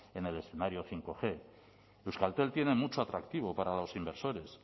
en el escenario bostg euskaltel tiene mucho atractivo para los inversores